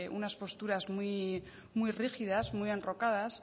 unas posturas muy rígidas muy enrocadas